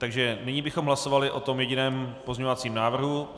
Takže nyní bychom hlasovali o tom jediném pozměňovacím návrhu.